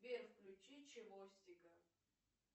сбер включи чевостика